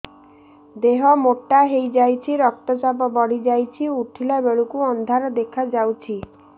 ଦେହ ମୋଟା ହେଇଯାଉଛି ରକ୍ତ ଚାପ ବଢ଼ି ଯାଉଛି ଉଠିଲା ବେଳକୁ ଅନ୍ଧାର ଦେଖା ଯାଉଛି